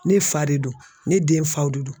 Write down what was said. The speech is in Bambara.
Ne fa de don ne den faw de don.